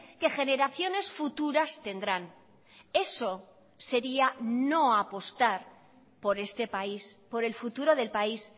que generaciones futuras tendrán eso sería no apostar por este país por el futuro del país